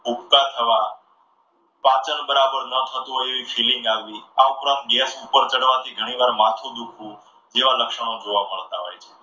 ઉબકા થવા. પાચન બરાબર ન થતું હોય એવી feeling આવી, આ ઉપરાંત gas ઉપર ચડવાથી ઘણી વખત માથું દુખવું જેવા લક્ષણો જોવા મળતા હોય છે.